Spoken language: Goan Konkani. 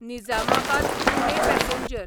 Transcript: निजामाबाद पुणे पॅसेंजर